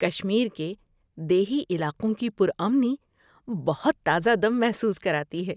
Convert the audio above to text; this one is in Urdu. کشمیر کے دیہی علاقوں کی پُرامنی بہت تازہ دم محسوس کراتی ہے۔